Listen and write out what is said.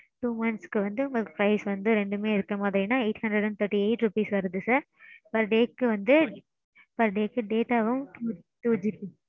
two months க்கு வந்து உங்களுக்கு price வந்து ரெண்டுமே இருக்குற மாறினா eight hundred and thirty eight rupees வருது sir. per day க்கு வந்து. per day க்கு data வும் twoGB